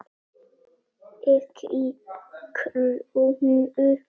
EKKI KRÓNU?